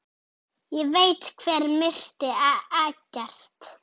Ég veit hver myrti Eggert.